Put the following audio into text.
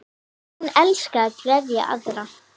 Hún elskaði að gleðja aðra.